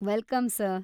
Welcome sir.